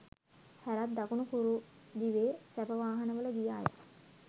හැරත් දකුණු කුරු දිවේ සැප වාහන වල ගිය අය